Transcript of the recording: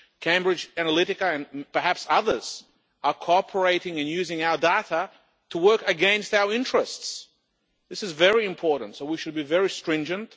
Cambridge Analytica, and perhaps others, are cooperating and using our data to work against our interests. This is very important, so we should be very stringent.